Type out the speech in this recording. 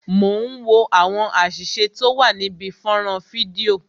Mo ń wo àwọn àṣìṣe tó wà níbi fọ́nrán fídíò